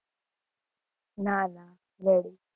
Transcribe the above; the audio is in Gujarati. ના ના, ready